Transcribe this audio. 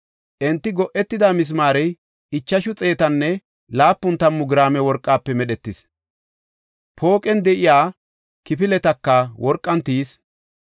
Enti go7etida misimaarey ichashu xeetanne laapun tammu giraame worqafe medhetis. Pooqen de7iya kifiletaka worqan tiyis.